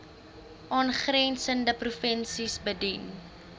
aangrensende provinsies bedien